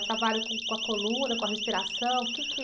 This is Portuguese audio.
O trabalho com, com a coluna, com a respiração, o quê que...